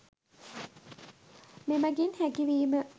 මෙමඟින් හැකි වීම